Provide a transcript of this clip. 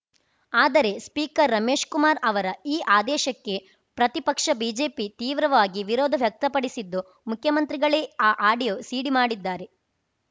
ಆದರೆ ಸ್ಪೀಕರ್‌ ರಮೇಶ್‌ಕುಮಾರ್‌ ಅವರ ಈ ಆದೇಶಕ್ಕೆ ಪ್ರತಿಪಕ್ಷ ಬಿಜೆಪಿ ತೀವ್ರವಾಗಿ ವಿರೋಧ ವ್ಯಕ್ತಪಡಿಸಿದ್ದು ಮುಖ್ಯಮಂತ್ರಿಗಳೇ ಆ ಆಡಿಯೋ ಸಿಡಿ ಮಾಡಿದ್ದಾರೆ